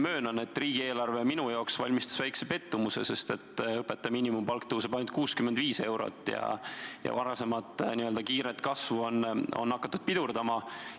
Möönan, et riigieelarve valmistas mulle väikese pettumuse, sest õpetaja miinimumpalk tõuseb ainult 65 eurot ja varasemat kiiret kasvu on hakatud pidurdama.